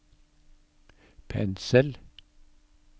pensel